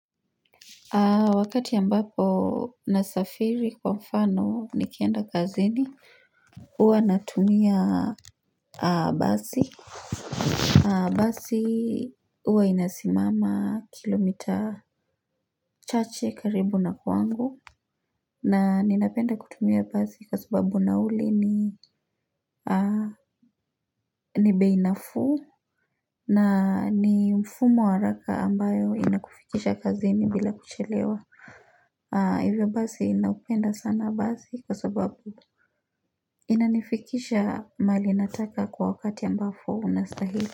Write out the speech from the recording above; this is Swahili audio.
Wakati ambapo nasafiri kwa mfano nikienda kazini huwa natumia basi. Basi huwa inasimama kilomita chache karibu na kwangu na ninapenda kutumia basi kwa sababu nauli ni bei nafuu na ni mfumo wa haraka ambayo inakufikisha kazini bila kuchelewa hivyo basi naupenda sana basi kwa sababu Inanifikisha mahali nataka kwa wakati ambapo unastahili.